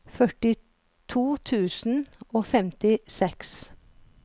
førtito tusen og femtiseks